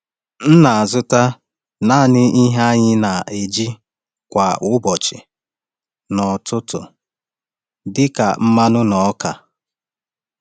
M na-azụta naanị ihe anyị na-eji kwa ụbọchị n’ọtụtù, dị ka mmanụ na ọka.